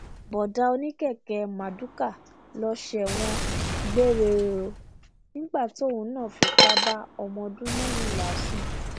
bọ̀ọ̀dá oníkẹ̀kẹ́ marduká ń lọ sẹwọn gbére o nígbà tóun náà fipá bá ọmọ ọdún mẹrìnlá sùn